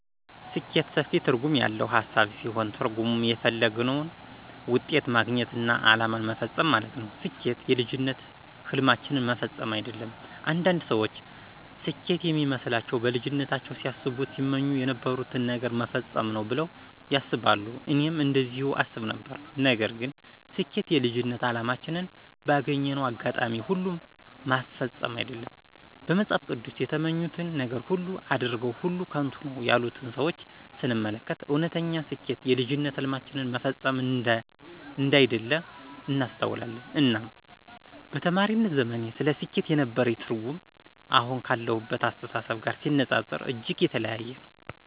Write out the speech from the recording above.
ስኬት ሰፊ ትርጉም ያለው ሃሳብ ሲሆን ትርጉሙም የተፈለገውን ውጤት ማግኘትና አላማን መፈፀም ማለት ነው። ስኬት የልጅነት ህልማችንን መፈፀም አይደለም። አንዳንድ ሰዎች ስኬት የሚመስላቸው በልጅነታቸው ሲያስቡት ሲመኙ የነበሩትን ነገር መፈፀም ነው ብለው ያስባሉ እኔም እንደዚሁም አስብ ነበር። ነገር ግን ስጀኬት የልጅነት አላማችንን ባገኘነው አጋጣሚ ሁሉ ማስፈፀም አይደለም። በመፅሃፍ ቅዱስ የተመኙትን ነገር ሁሉ አድርገው ሁሉ ከንቱ ነው ያሉትን ሰዎች ስንመለከት እወነተኛ ስኬት የልጅነት ህልማችንን መፈፀም አንዳይደለ እናስተውላለን። እናም በተማሪነት ዘመኔ ስለ ስኬት የነበረኝ ትርጉም አሁን ካለሁበት አስተሳሰብ ጋር ሲነፃፀር እጅግ የተለያየ ነው።